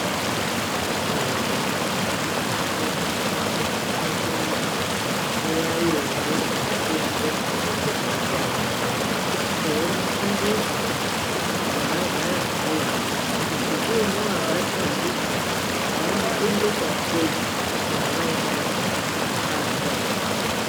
Eya ayihamba mumizi mwedu umwo nguva yebesha mupengo veutano aya eyimufundisa kuti munogara sei kuti kuine abatwa ndicho muno muchengera sei yavaidaidza kuti kwarantayini.